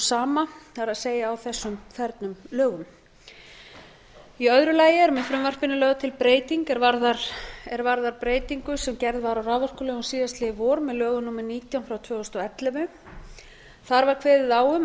sama það er á þessum fernum lögum í öðru lagi er með frumvarpinu lögð til breyting er varðar breytingu sem gerð var á raforkulögum síðastliðið vor með lögum númer nítján tvö þúsund og ellefu þar var kveðið á um